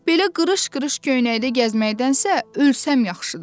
Belə qırış-qırış köynəkdə gəzməkdənsə ölsəm yaxşıdır.